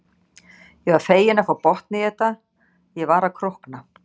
Ég var fegin að fá botn í þetta, ég var að krókna.